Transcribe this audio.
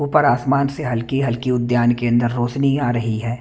ऊपर आसमान से हलकी हलकी उद्यान के अंदर रौशनी आ रही है।